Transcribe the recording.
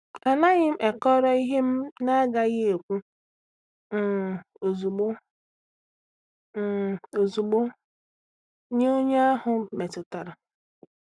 Anaghị m ekọrọ ihe m na-agaghị ekwu um ozugbo um ozugbo nye onye ahụ metụtara.